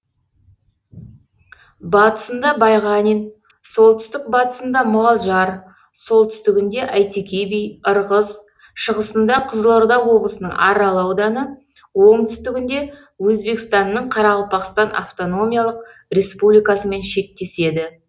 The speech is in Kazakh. батысында байғанин солтүстік батысында мұғалжар солтүстігінде әйтеке би ырғыз шығысында қызылорда облысының арал ауданы оңтүстігінде өзбекстанның қарақалпақстан автономиялық республикасымен шектеседі